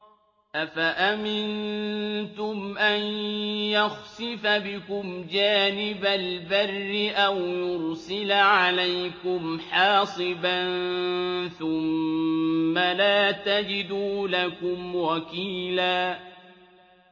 أَفَأَمِنتُمْ أَن يَخْسِفَ بِكُمْ جَانِبَ الْبَرِّ أَوْ يُرْسِلَ عَلَيْكُمْ حَاصِبًا ثُمَّ لَا تَجِدُوا لَكُمْ وَكِيلًا